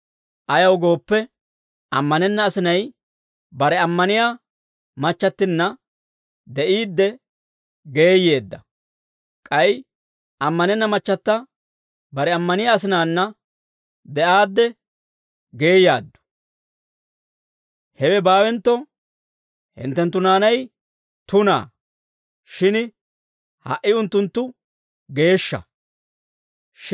Ayaw gooppe, ammanenna asinay bare ammaniyaa machchattinna de'iide geeyyeedda. K'ay ammanenna machchata bare ammaniyaa asinaana de'aade geeyyaaddu. Hewe baawentto, hinttenttu naanay tunaa; shin ha"i unttunttu geeshsha.